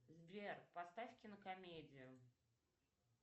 сбер поставь кинокомедию